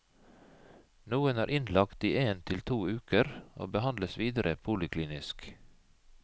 Noen er innlagt i en til to uker og behandles videre poliklinisk.